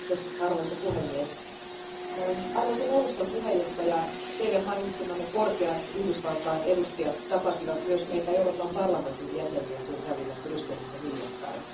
Arvoisa puhemies, arvoisa neuvoston puheenjohtaja, Teidän mainitsemanne Yhdysvaltain korkeat edustajat tapasivat myös meitä Euroopan parlamentin jäseniä käydessään Brysselissä hiljattain.